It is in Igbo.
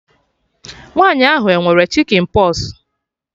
Nwaanyi ahụ e nwere chikịn pọs?